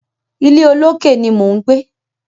Ilé olókè ni mò ń gbé.